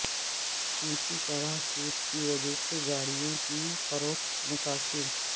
اونچی شرح سود کی وجہ سے گاڑیوں کی فروخت متاثر